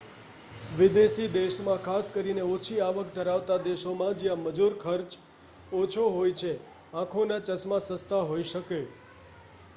વિદેશી દેશમાં ખાસ કરીને ઓછી આવક ધરાવતા દેશોમાં જ્યાં મજૂર ખર્ચ ઓછો હોય છે આંખોના ચશ્મા સસ્તા હોઈ શકે